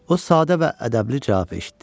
O sadə və ədəbli cavab eşitdi: